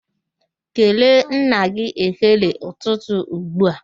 Kelee nna gị ekele ụtụtụ ugbua!